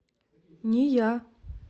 нея